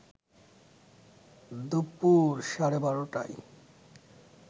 দুপুর সাড়ে ১২টায়